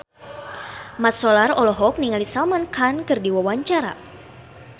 Mat Solar olohok ningali Salman Khan keur diwawancara